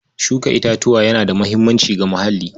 Shuka itatuwa yana da muhimmanci ga muhalli.